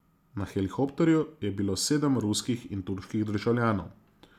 Na helikopterju je bilo sedem ruskih in turških državljanov.